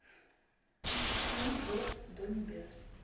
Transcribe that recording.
семь верст до небес